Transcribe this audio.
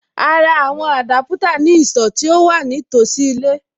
A ra àwọn Adaputa ní ìsọ̀ tí ó wà ní tòsí ilé.